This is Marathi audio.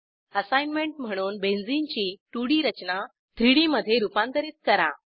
असाईनमेंट म्हणून बेंझीनची 2डी रचना 3डी मधे रूपांतरित करा